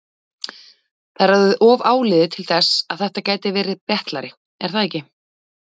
Það er orðið of áliðið til þess að þetta gæti verið betlari, er það ekki?